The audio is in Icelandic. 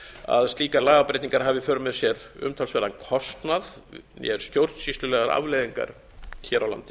að slíkar lagabreytingar hafi í för með sér umtalsverðan kostnað né stjórnsýslulegar afleiðingar hér á landi